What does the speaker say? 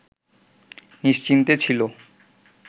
নিশ্চিন্তে ছিল